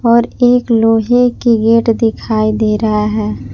और एक लोहे के गेट दिखाई दे रहा है।